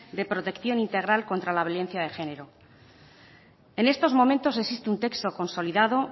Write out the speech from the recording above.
de protección integral contra la violencia de género en estos momentos existe un texto consolidado